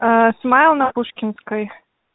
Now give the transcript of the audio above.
смайл на пушкинской